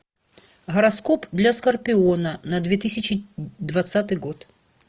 гороскоп для скорпиона на две тысячи двадцатый год